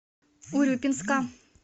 урюпинска